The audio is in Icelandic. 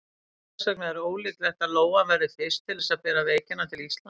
Þess vegna er ólíklegt að lóan verði fyrst til þess að bera veikina til Íslands.